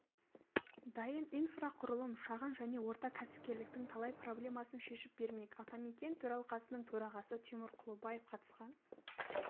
дайын инфрақұрылым шағын және орта кәсіпкерліктің талай проблемасын шешіп бермек атамекен төралқасының төрағасы тимур құлыбаев қатысқан